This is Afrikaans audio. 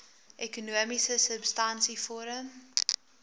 ekonomiese substansie vorm